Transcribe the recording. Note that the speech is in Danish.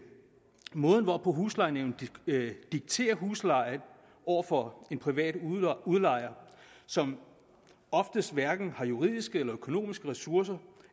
måden hvorpå huslejenævnet dikterer huslejen over for en privat udlejer som oftest hverken har juridiske eller økonomiske ressourcer